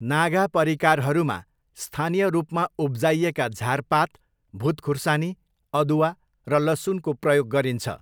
नागा परिकारहरूमा स्थानीय रूपमा उब्जाइएका झारपात, भुत खुर्सानी, अदुवा र लसुनको प्रयोग गरिन्छ।